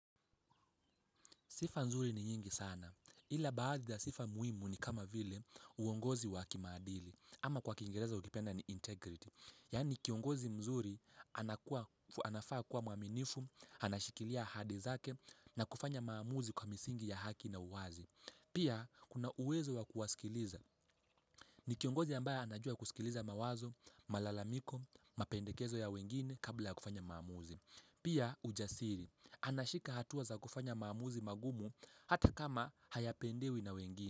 Sifa nzuri ni nyingi sana, ila baadhi za sifa muhimu ni kama vile uongozi wakimaadili ama kwa kingereza ukipenda ni integrity. Yani kiongozi mzuri anafaa kuwa mwaminifu, anashikilia hadi zake na kufanya maamuzi kwa misingi ya haki na uwazi. Pia kuna uwezo wa kuwasikiliza. Ni kiongozi ambaye anajua kusikiliza mawazo, malalamiko, mapendekezo ya wengine kabla ya kufanya maamuzi. Pia ujasiri, anashika hatuwa za kufanya maamuzi magumu hata kama hayapendewi na wengine.